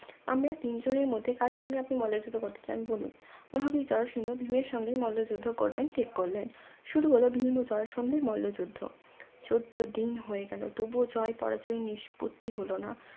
আমরা তিনজনের মধ্যে কার সঙ্গে আপনি মল্ল যুদ্ধ করতে চান বলুন মহাবীর জরাসন্ধ ভীমের সঙ্গে মল্ল যুদ্ধ করবেন ঠিক করলেন শুরু হলো ভীম ও জরাসন্ধের মল্ল যুদ্ধ চোদ্দ দিন হয়ে গেল তবুও জয় পরাজয় নিষ্পত্তি হলো না